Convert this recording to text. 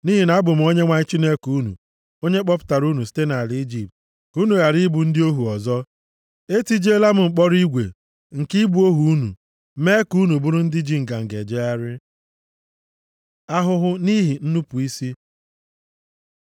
Nʼihi na abụ m Onyenwe anyị Chineke unu onye kpọpụtara unu site nʼala Ijipt, ka unu ghara ịbụ ndị ohu ọzọ. Etijiela m mkpọrọ igwe + 26:13 Ya bụ, yoku nke ịbụ ohu unu, mee ka unu bụrụ ndị ji nganga ejegharị. Ahụhụ nʼihi Nnupu isi